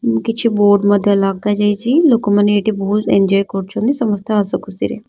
କିଛି ବୋର୍ଡ଼ ମଧ୍ୟ ଲଗା ଯାଇଚି ଲୋକ ମାନେ ଏଠି ବହୁତ ଏଞ୍ଜୟ କରୁଚନ୍ତି ସମସ୍ତେ ହସଖୁସି ରେ।